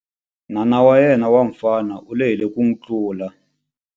N'wana wa yena wa mufana u lehile ku n'wi tlula.